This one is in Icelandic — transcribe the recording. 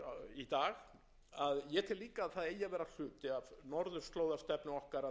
um öryggi sömuleiðis og leiðir af sjálfu frá